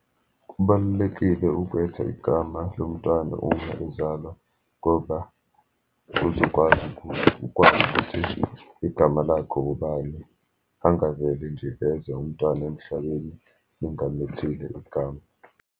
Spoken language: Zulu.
Kubalulekile ukwetha igama lomntwana uma ezalwa, ngoba uzokwazi ukuthi ukwazi ukuthi igama lakho ngobani. Angaveli nje eze umntwana emhlabeni, ningamethile igama.